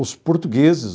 Os portugueses,